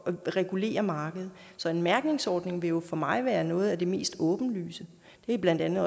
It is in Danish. regulere markedet så en mærkningsordning vil for mig være noget af det mest åbenlyse det er blandt andet